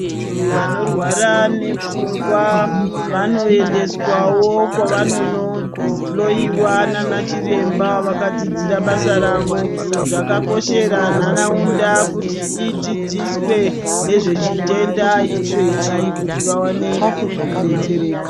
Vantu vanorwara nepfungwa vanoendeswawo kwevanondohloyiwa nanachiremba vakadzidzira basa ravo zvakakoshera ntaraunda kuti idzidziswe nezvechitenda ichechi kuti vawane kudetsereka.